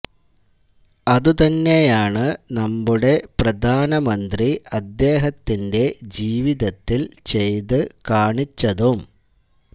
അത് തന്നെയാണ് നമ്മുടെ പ്രധാനമന്ത്രി അദ്ദേഹത്തിന്റെ ജീവിതത്തില് ചെയ്ത് കാണിച്ചതും